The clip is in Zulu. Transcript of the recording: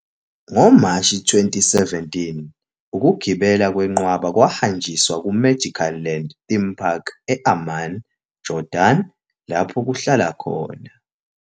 NgoMashi 2017, ukugibela kwenqwaba kwahanjiswa kuMagic Land Theme Park e- Amman, Jordan, lapho kuhlala khona.